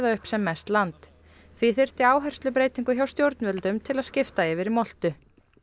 upp sem mest land því þyrfti áherslubreytingu hjá stjórnvöldum til að skipta yfir í moltu